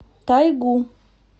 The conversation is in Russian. тайгу